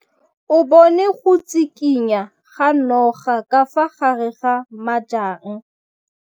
O bone go tshikinya ga noga ka fa gare ga majang.